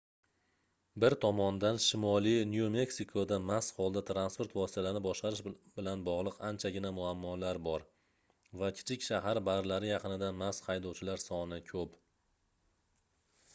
bir tomondan shimoliy nyu-meksikoda mast holda transport vositalarini boshqarish bilan bogʻliq anchagina muammolar bor va kichik shahar barlari yaqinida mast haydovchilar soni koʻp